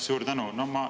Suur tänu!